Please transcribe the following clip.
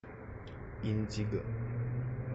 индиго